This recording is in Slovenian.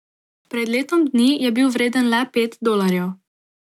Pred letom dni je bil vreden le pet dolarjev.